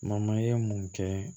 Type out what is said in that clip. ye mun kɛ